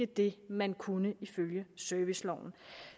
det man kunne ifølge serviceloven